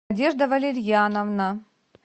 надежда валерьяновна